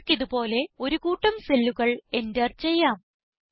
നിങ്ങൾക്കിത് പോലെ ഒരു കൂട്ടം cellല്ലുകൾ എന്റർ ചെയ്യാം